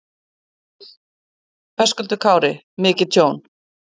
Höskuldur Kári: Mikið tjón?